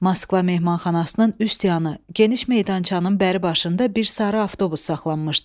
Moskva mehmanxanasının üst yanı geniş meydançanın bəri başında bir sarı avtobus saxlanmışdı.